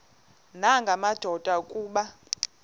nanga madoda kuba